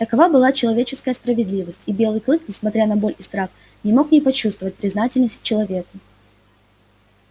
такова была человеческая справедливость и белый клык несмотря на боль и страх не мог не почувствовать признательность к человеку